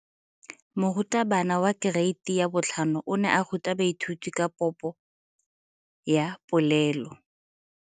Moratabana wa kereiti ya 5 o ne a ruta baithuti ka popo ya polelo.